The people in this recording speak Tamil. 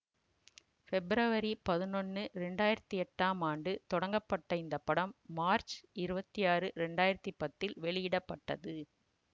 பெப்ரவரி பதினொன்னு இரண்டு ஆயிரத்தி எட்டாம் ஆண்டு தொடங்கப்பட்ட இந்த படம் மார்ச் இருவத்தி ஆறு இரண்டு ஆயிரத்தி பத்தில் வெளியிட பட்டது